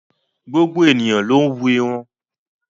Gbogbo ènìyàn ló ń wú irun.